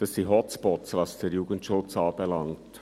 Dies sind Hotspots, was den Jugendschutz anbelangt.